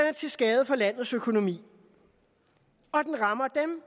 er til skade for landets økonomi og den rammer dem